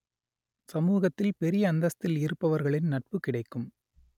சமூகத்தில் பெரிய அந்தஸ்தில் இருப்பவர்களின் நட்பு கிடைக்கும்